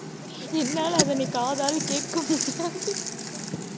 என்னால அதனை காதால் கேட்க முடியாது